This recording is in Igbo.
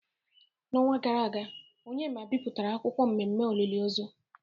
N’ọnwa gara aga, Onyema bipụtara akwukwuo mmemme olili ozu.